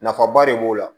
Nafaba de b'o la